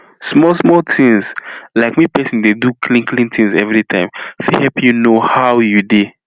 small small things like make pesin dey do clean clean things every time fit help you know how you dey